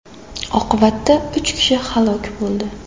Oqibatda uch kishi halok bo‘ldi.